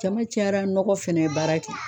Jama cayara nɔgɔ fɛnɛ ye baara kɛ